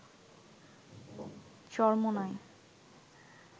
Charmonai